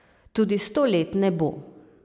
Tudi sto let ne bo.